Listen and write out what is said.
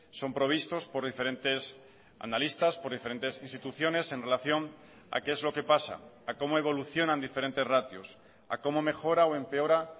son provistos por diferentes analistas por diferentes instituciones en relación a qué es lo que pasa a cómo evolucionan diferentes ratios a cómo mejora o empeora